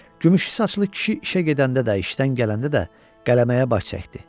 Gümüşü saçlı kişi işə gedəndə də, işdən gələndə də qələməyə baş çəkdi.